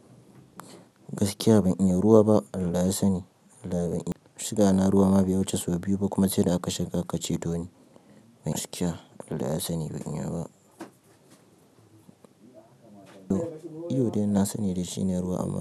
Gaskiya ban iya ruwa ba Allah ya sani. Shiga na ruwa ma bai wuce sau biyu ba kuma sai da aka shiga aka cetoni. Gaskiya Allah ya sani ban iya ba. To iyo dai nasani shine dai ruwa amma.